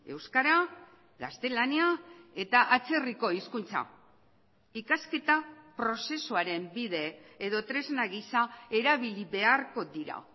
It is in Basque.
euskara gaztelania eta atzerriko hizkuntza ikasketa prozesuaren bide edo tresna gisa erabili beharko dira